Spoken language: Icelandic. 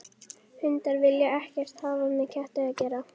Hundar vilja ekkert hafa með ketti að gera.